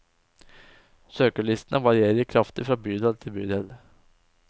Søkerlistene varierer kraftig fra bydel til bydel.